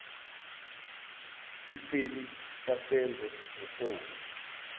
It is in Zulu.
iseli kasenzo ngifone